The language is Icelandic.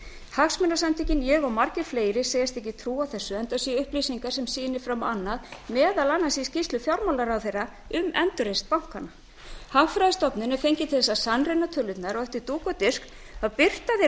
hagsmunasamtökin ég og margir fleiri segjast ekki trúa þessu enda séu upplýsingar sem sýni fram á annað meðal annars í skýrslu fjármálaráðherra um endurreisn bankanna hagfræðistofnun er fengin til að sannreyna tölurnar og eftir dúk og disk birtir hún